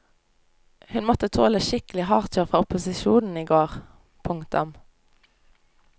Hun måtte tåle skikkelig hardkjør fra opposisjonen i går. punktum